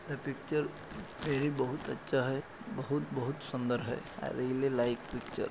the picture यानी बहोत अच्छा हैबहोत बहोत सुंदर है आय लाईक अ पिक्चर